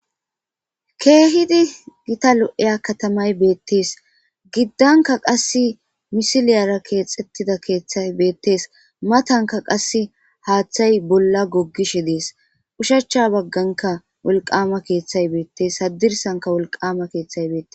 keehidi gita lo7eya katamay beettees giddanka qass misiliyara keexxettida keeththay beettees matanka qasse haaththay bolla goggishe dees ushacha bagganka wolqama keeththay beettes sadirsanka wolqama keeththay beete